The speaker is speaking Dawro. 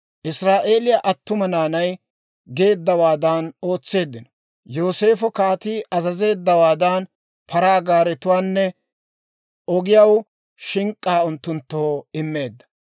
Israa'eeliyaa attuma naanay geeddawaadan ootseeddino. Yooseefo kaatii azazeeddawaadan paraa gaaretuwaanne ogiyaw shink'k'aa unttunttoo immeedda.